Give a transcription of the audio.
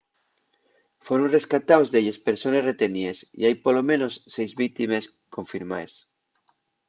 foron rescataos delles persones reteníes y hai polo menos seis víctimes confirmaes